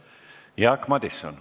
Jaak Madison.